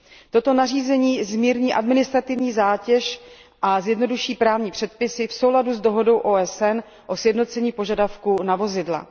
Toto nařízení zmírní administrativní zátěž a zjednoduší právní předpisy v souladu s dohodu OSN o sjednocení požadavků na vozidla.